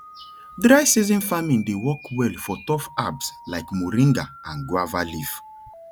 dry season farming dey work well for tough herbs like moringa and guava leaf